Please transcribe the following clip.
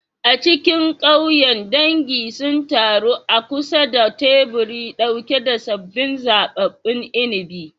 A cikin ƙauyen, dangi sun taru a kusa da teburi ɗauke da sabbin zaɓaɓɓun inabi.